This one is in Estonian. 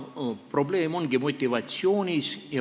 Probleem ongi motivatsioonis.